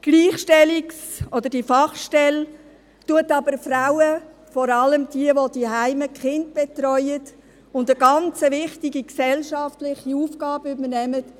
Die Gleichstellungsfachstelle diskriminiert die Frauen, die zuhause die Kinder betreuen und eine ganz wichtige gesellschaftliche Aufgabe übernehmen.